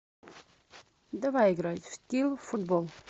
давай играть в скилл футбол